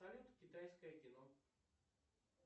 салют китайское кино